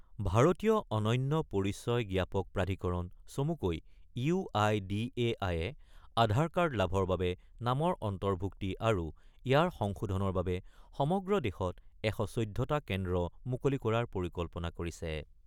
ভাৰতীয় অনন্য পৰিচয় জ্ঞাপক প্ৰাধীকৰণ চমুকৈ ইউ আই ডি এ আইয়ে আধাৰ কাৰ্ড লাভৰ বাবে নামৰ অন্তৰ্ভূক্তি আৰু ইয়াৰ সংশোধনৰ বাবে সমগ্ৰ দেশত ১১৪ টা কেন্দ্ৰ মুকলি কৰাৰ পৰিকল্পনা কৰিছে।